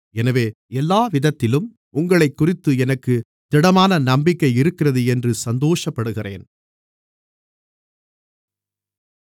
எனவே எல்லாவிதத்திலும் உங்களைக்குறித்து எனக்குத் திடமான நம்பிக்கை இருக்கிறது என்று சந்தோஷப்படுகிறேன்